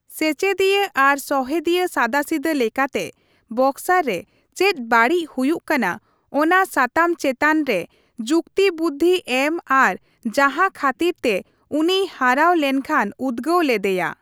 ᱥᱮᱪᱮᱫᱤᱭᱟᱹ ᱟᱨ ᱥᱚᱦᱮᱫᱤᱭᱟᱹ ᱥᱟᱫᱟᱥᱤᱫᱟᱹ ᱞᱮᱠᱟᱛᱮ ᱵᱚᱠᱥᱟᱨ ᱨᱮ ᱪᱮᱫ ᱵᱟᱹᱲᱤᱡ ᱦᱩᱭᱩᱜ ᱠᱟᱱᱟ ᱚᱱᱟ ᱥᱟᱛᱟᱢ ᱪᱮᱛᱟᱱ ᱨᱮ ᱡᱩᱠᱛᱤᱵᱩᱫᱫᱷᱤ ᱮᱢ ᱟᱨ ᱡᱟᱦᱟᱸ ᱠᱷᱟᱹᱛᱤᱨ ᱛᱮ ᱩᱱᱤᱭ ᱦᱟᱨᱟᱣ ᱞᱮᱱᱠᱷᱟᱱ ᱩᱫᱜᱟᱹᱣ ᱞᱮᱫᱮᱭᱟ ᱾